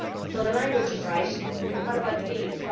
So the language is right, but what about the deeds?